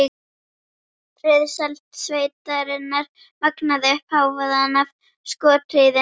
Friðsæld sveitarinnar magnaði upp hávaðann af skothríðinni.